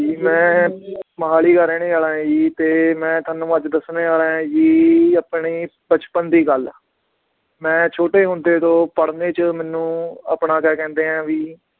ਮੈ ਮੋਹਾਲੀ ਦਾ ਰਹਿਣੇ ਵਾਲਾ ਆ ਜੀ ਤੇ ਮੈ ਤੁਹਾਨੂੰ ਅੱਜ ਦਸਣੇ ਵਾਲਾ ਆਂ ਜੀ ਆਪਣੇ ਬਚਪਨ ਦੀ ਗੱਲ, ਮੈ ਛੋਟੇ ਹੁੰਦੇ ਤੋਂ ਪੜ੍ਹਨੇ ਚ ਮੈਨੂੰ ਆਪਣਾ ਕਿਆ ਕਹਿੰਦੇ ਆ ਵੀ